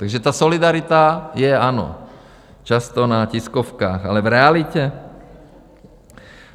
Takže ta solidarita je - ano - často na tiskovkách, ale v realitě?